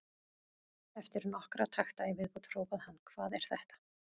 Eftir nokkra takta í viðbót hrópaði hann: Hvað er þetta?